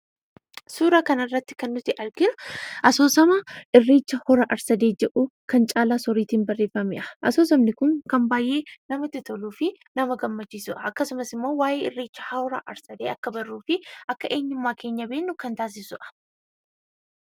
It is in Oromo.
Suura kana irratti kan nuti arginu, asoosama irreecha hora ar-sadee jedhu kan caalaa sooriitiin barreeffamedha. Asoosamni Kun, kan baayyee namatti toluu fi nama gammachiisudha. Akkasumas immoo waa'ee irreecha hora ar-sadee akka barruu fi akka eenyummaa keenya beeknu kan taasisuudha .